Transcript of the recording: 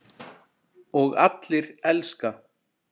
Og allir elska.